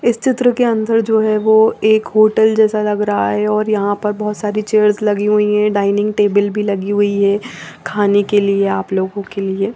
इस चित्र के अंदर जो है वो एक होटल जैसा लग रहा है और यहां पर बहुत सारी चेयर्स लगी हुई हैं डाइनिंग टेबल भी लगी हुई है खाने के लिए आप लोगों के लिए।